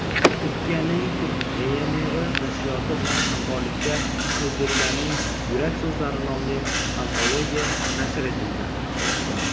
Turkiyaning "Turk Yayinevi" nashriyoti bilan hamkorlikda "O‘zbeklarning yurak so‘zlari" nomli antologiya nashr etildi.